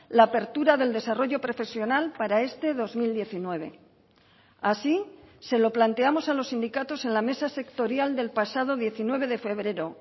la apertura del desarrollo profesional para este dos mil diecinueve así se lo planteamos a los sindicatos en la mesa sectorial del pasado diecinueve de febrero